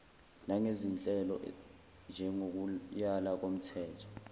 nangezinhlelo njengokuyala komthe